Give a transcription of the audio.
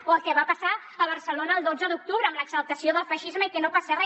o el que va passar a barcelona el dotze d’octubre amb l’exaltació del feixisme i que no passa re